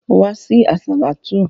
Wá sí àsàlátú!